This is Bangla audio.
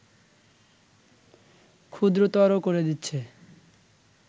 ক্ষুদ্রতর করে দিচ্ছে